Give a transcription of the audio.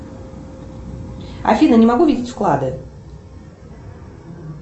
афина не могу видеть вклады